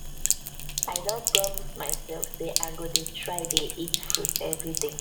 i don promise mysef sey i go dey try dey eat fruit everyday